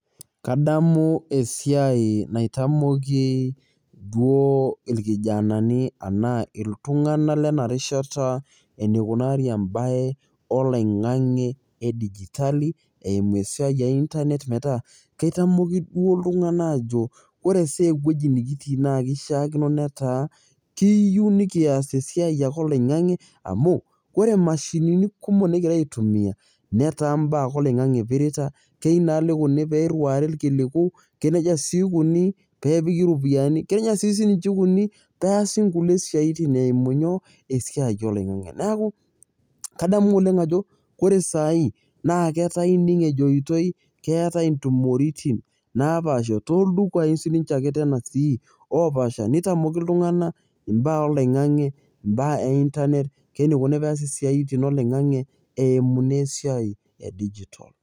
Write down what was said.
Kadamu esiai naitamoki duo irkijanani tanaa ltunganak lenarishata teneikunari embae oloingani edigitali eimu esiai einternet metaa keitamoki duo ltunganak ajo ore duo esiai nekitii na kishakino netaa kiyie nikias esiai oloingangi amu ore mashinini kumok nikingira aitumia netaa mbaa ake oloingangi ipirita, keyeu nai neiriwai irkiliku, kenejia oshi ikuni pepiki ropiyani keyieu oshi ninche ikuni peasi nkulie siaitin eimu nyoo esiai oloingangi, neaku kadamu oleng ajo ore sai ata ining ajo ketai ntumoritin napasha toldukai ake sinche sai opaasha nitamoki ltunganak mbaa oloingani mbaa einternet, keneikuni teneasi mbaa oloingani eimuni esiai e digital